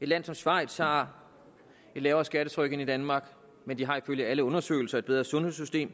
land som schweiz har et lavere skattetryk end danmark men de har ifølge alle undersøgelser et bedre sundhedssystem